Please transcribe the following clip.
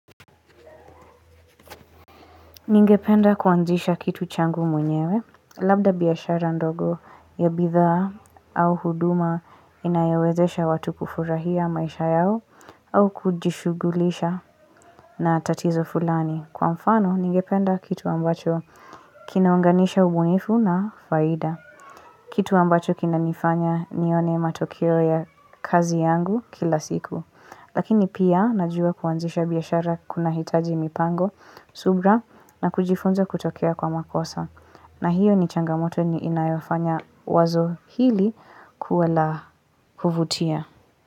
Ningependa kuanzisha kitu changu mwenyewe, labda biashara ndogo ya bidhaa au huduma inayowezesha watu kufurahia maisha yao au kujishugulisha na tatizo fulani. Kwa mfano, ningependa kitu ambacho kinaunganisha ubunifu na faida. Kitu ambacho kinanifanya nione matokeo ya kazi yangu kila siku. Lakini pia, najua kuanzisha biashara kuna hitaji mipango, subra, na kujifunza kutokia kwa makosa. Na hiyo ni changamoto ni inayofanya wazo hili kuwa la kuvutia.